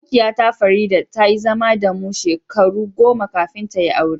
Abokiya ta, Farida, ta yi zama da mu shekaru goma kafin ta yi aure.